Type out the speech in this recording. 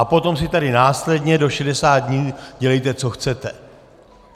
A potom si tady následně do 60 dní dělejte, co chcete.